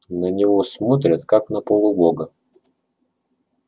на него смотрят как на полубога